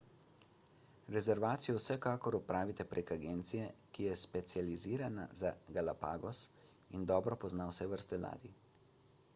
rezervacijo vsekakor opravite prek agencije ki je specializirana za galapagos in dobro pozna vse vrste ladij